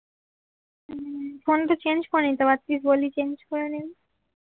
phone তো change করে নিতে পারতিস বল্লি চেঞ্জ করে নেবো